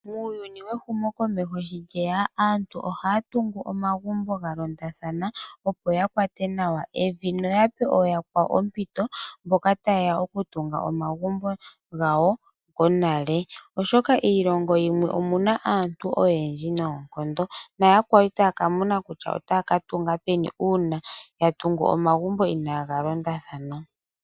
Muuyuni wehumo komeho sho lyeya aantu ohaya tungu ogumbo galondathana opo yakwate naw evi noyape ooyakwawo ompito mboka tayeya okutunga omagumbo gawo konale . Oshoka kiilongo yimwe omuna aantu oyendji noonkondo naya kwawo itaya ka mona kutya otaa katunga peni uuna yatungu omzgumbo inaaga londathana.